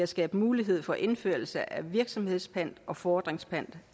at skabe mulighed for indførelse af virksomhedspant og fordringspant